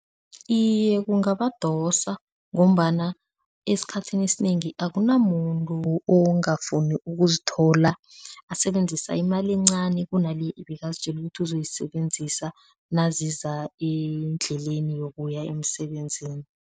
Iye, kungabadosa ngombana esikhathini esinengi akunamuntu ongafuni ukuzithola asebenzisa imali encani kuna le ibekazitjele ukuthi ozoyisebenzisa naziza endleleni yokuya emsebenzini.